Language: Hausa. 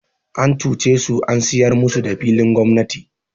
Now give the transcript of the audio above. An cuce su an sayar musu da filin gwamnati.